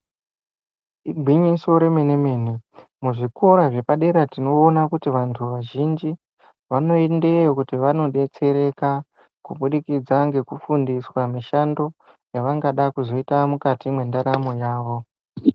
Igwinyiso remene mene muzvikora zvepadera tinoona kuti vantu vazhinji vanoendeyo kuti vanodetsereka kubudikidza ngekufundiswa mishando yavangada kuzoita mukati medaramo yavo.